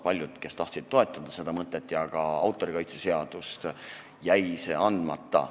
Paljudel, kes tahtsid toetada seda mõtet ja ka autorikaitse seaduse eelnõu, jäi allkiri andmata.